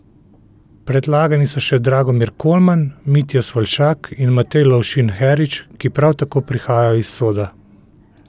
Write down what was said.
Predlagani so še Dragomir Kolman, Mitja Svoljšak in Matej Lovšin Herič, ki prav tako prihajajo iz Soda.